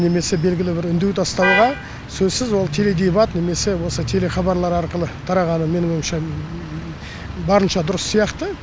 немесе белгілі бір үндеу тастауға сөзсіз ол теледебат немесе осы телехабарлар арқылы тарағаны менің ойымша барынша дұрыс сияқты